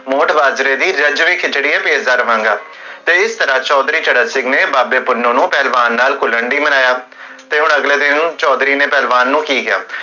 ਮੋਠ ਬਾਜਰੇ ਦੀ ਰਜਵੀ ਖਿਚੜੀ ਹੈ, ਬੇਜ਼ਾਗਮਾਂਗਾ, ਤੇ ਚੌਧਰੀ ਚਰਨ ਸਿੰਘ ਨੇ, ਬਾਬੇ ਪੁੰਨੁ ਨੂੰ ਪਹਲਵਾਨ ਨਾਲ ਕੁਲਲਣ ਲਈ ਮਨਾਇਆ ਤੇ ਅਗਲੇ ਦਿਨ ਚੋਧਰੀ ਨੇ ਪਹਲਵਾਨ ਨੂੰ ਕੀ ਕੇਹਾ?